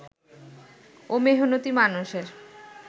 ও মেহনতি মানুষের